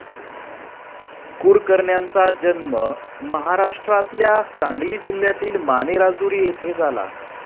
कुरकरण्याचा जन्म महाराष्ट्रातल्या सांगली जिल्ह्यातील मानेराजुरी येथे झाला.